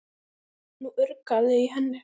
Nú urgaði í henni.